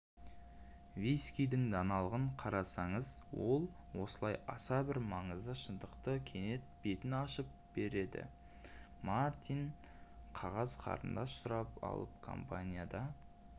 вискидің даналығын қараңыз ол осылай аса бір маңызды шындықтың кенет бетін ашып бердімартин қағаз қарындаш сұрап алып компанияда